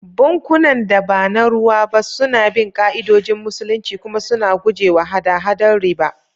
Bankunan da ba na ruwa ba suna bin ka'idodin Musulunci kuma suna guje wa hada-hadar riba.